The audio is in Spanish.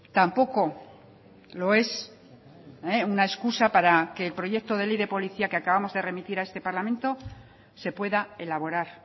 tampoco lo es una excusa para que el proyecto de ley de policía que acabamos de remitir a este parlamento se pueda elaborar